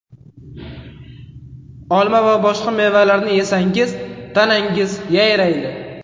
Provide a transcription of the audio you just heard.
Olma va boshqa mevalarni yesangiz, tanangiz yayraydi.